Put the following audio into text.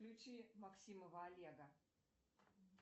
включи максимова олега